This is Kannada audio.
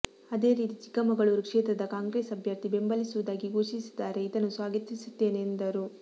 ಅದೇ ರೀತಿ ಚಿಕ್ಕಮಗಳೂರು ಕ್ಷೇತ್ರದ ಕಾಂಗ್ರೆಸ್ ಅಭ್ಯರ್ಥಿ ಬೆಂಬಲಿಸುವುದಾಗಿ ಘೋಷಿಸಿದ್ದಾರೆ ಇದನ್ನು ಸ್ವಾಗತಿಸುತ್ತೇನೆ ಎಂದರು